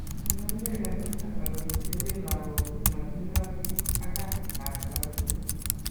Kinamke kanisa ak oletepee lakok chi matindo sigig ak kasit ab taretet